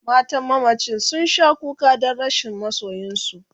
matan mamacin sun Sha kuka Dan rashin masoyinsu